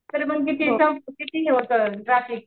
म्हणजे ते किती हे होतं ट्राफिक.